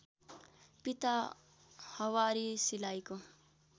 पिता हवारी सिलाइको